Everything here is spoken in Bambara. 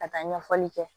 Ka taa ɲɛfɔli kɛ